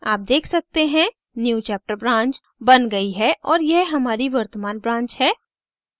आप देख सकते हैं newchapter branch बन गई है और यह हमारी वर्तमान branch है